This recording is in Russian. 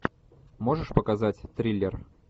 можешь показать триллер